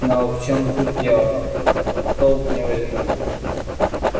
но в чем тут дело в толк не возьму